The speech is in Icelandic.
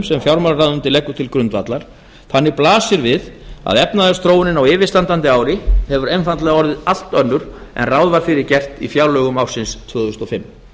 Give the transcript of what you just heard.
sem fjármálaráðuneytið leggur til grundvallar þannig blasir við að efnahagsþróunin á yfirstandandi ári hefur einfaldlega orðið allt önnur en ráð var fyrir gert í fjárlögum ársins tvö þúsund og fimm